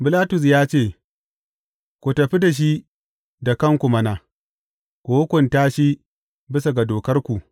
Bilatus ya ce, Ku tafi da shi da kanku mana, ku hukunta shi bisa ga dokarku.